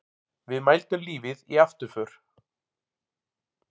Við mældum lífið í afturför.